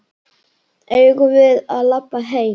Eigum við að labba heim?